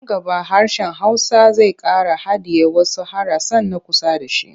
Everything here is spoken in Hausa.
Nan gaba hsrshen Hausa zai ƙara hadiye wasu harasan na kusa da shi.